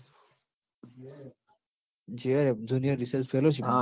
JRF Junior Research Fellowship